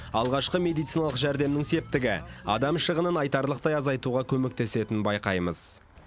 алғашқы медициналық жәрдемнің септігі адам шығынын айтарлықтай азайтуға көмектесетінін байқаймыз